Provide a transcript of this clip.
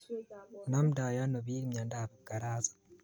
Namndai ano bik myondob kipkarasit